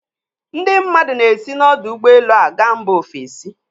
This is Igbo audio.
Ndị mmadụ na-esi n'ọdọụgbọelu a ga mba ofesi.